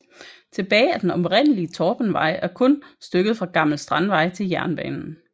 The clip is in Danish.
Tilbage af den oprindelige Torpenvej er kun stykket fra Gammel Strandvej til jernbanen